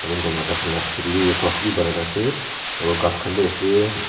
tai khan laga piche tey bhi rest house bhi banai kena ase aru ghas khan bhi ase--